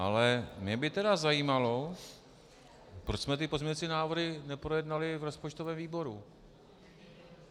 Ale mě by tedy zajímalo, proč jsme ty pozměňovací návrhy neprojednali v rozpočtovém výboru.